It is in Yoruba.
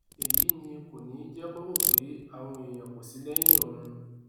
èyí ni kò ní í jẹ kó rò pé àwọn èèyàn kò sí lẹyìn òun